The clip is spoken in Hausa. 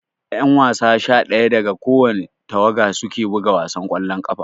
Ƴan wasa sha daya daga kowani tawaga suke buga wasan ƙwallon ƙafa